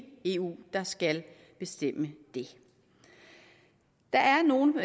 eu der skal bestemme det der er nogle